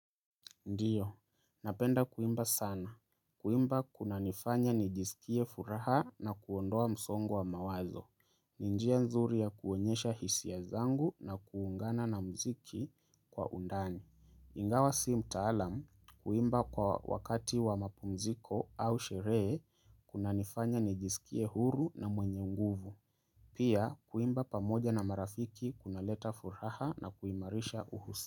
Ndiyo, napenda kuimba sana. Kuimba kuna nifanya nijisikie furaha na kuondoa msongo wa mawazo. Ninjia nzuri ya kuonyesha hisiya zangu na kuungana na mziki kwa undani. Ingawa si mtaalam, kuimba kwa wakati wa mapumziko au sheree, kuna nifanya nijisikie huru na mwenye nguvu. Pia, kuimba pamoja na marafiki kuna leta furaha na kuimarisha uhusi.